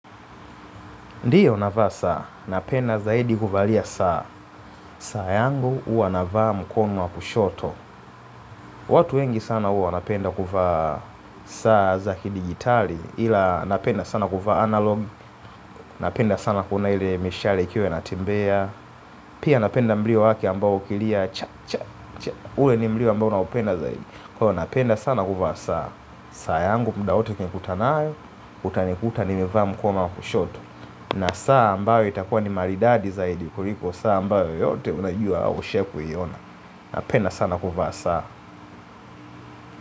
Ndiyo navaa saa, napenda zaidi kuvalia saa. Saa yangu huwa navaa mkono wa kushoto. Watu wengi sana huwa wanapenda kuvaa saa za kidigitali. Ila napenda sana kuvaa analog. Napenda sana kuona ile mishale ikiwe inatembea. Pia napenda mlio wake ambao ukilia cha cha cha ule ni mlio ambao naupenda zaidi Ko napenda sana kuvaa saa. Saa yangu mda wote ukinikuta nayo utanikuta nimevaa mkono wa kushoto na saa ambayo itakua ni maridadi za kuliko. Saa ambayo yoyote unajua au ushawahi kuiona. Napenda sana kuvaa saa.